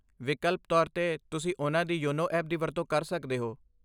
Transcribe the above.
ਵਿਕਲਪ ਤੌਰ 'ਤੇ, ਤੁਸੀਂ ਉਨ੍ਹਾਂ ਦੀ ਯੋਨੋ ਐਪ ਦੀ ਵਰਤੋਂ ਕਰ ਸਕਦੇ ਹੋ।